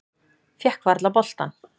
Fékk varla boltann.